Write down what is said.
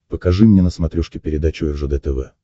покажи мне на смотрешке передачу ржд тв